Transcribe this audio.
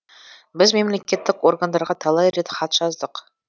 біз мемлекеттік органдарға талай рет хат жаздық